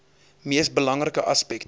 mees belangrike aspekte